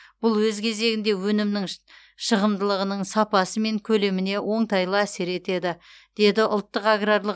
бұл өз кезегінде өнімнің шығымдылығының сапасы мен көлеміне оңтайлы әсер етеді деді ұлттық аграрлық